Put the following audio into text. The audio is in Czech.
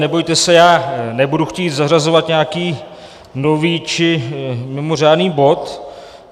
Nebojte se, já nebudu chtít zařazovat nějaký nový či mimořádný bod.